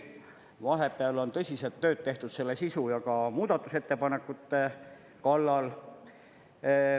Vahepeal on tõsiselt tööd tehtud selle sisu ja ka muudatusettepanekute kallal.